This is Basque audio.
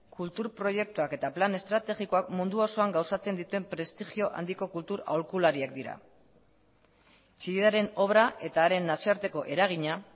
kultur proiektuak eta plan estrategikoak mundu osoan gauzatzen dituen prestigio handiko kultur aholkulariak dira chillidaren obra eta haren nazioarteko eragina